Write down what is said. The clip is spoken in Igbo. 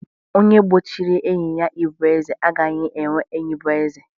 Onye gbochiri enyi ya ịbụ eze, agaghị enwe enyi bụ eze